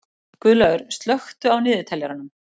Guðlaugur, slökktu á niðurteljaranum.